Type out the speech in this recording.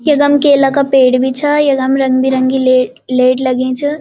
यकम केला का पेड़ बि छा यकम रंग-बिरंगी ले लेट लगीं च।